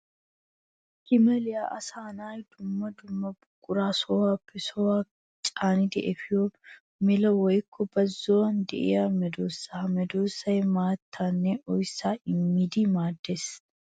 Gaameelay asaanne dumma dumma buqura sohuwappe sohuwa caanidi efiya mela woykko bazzuwan de'iya medosa. Ha medosay maattanne oyssa immiddi maades.